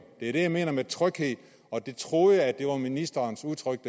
det er det jeg mener med tryghed og jeg troede at det lå i ministerens udtryk